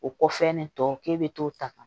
O kɔfɛ nin tɔ k'e bɛ t'o ta